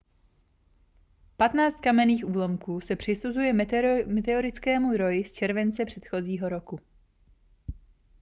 patnáct kamenných úlomků se přisuzuje meteorickému roji z července předchozího roku